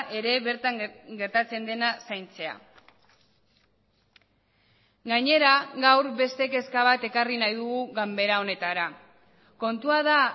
ere bertan gertatzen dena zaintzea gainera gaur beste kezka bat ekarri nahi dugu ganbera honetara kontua da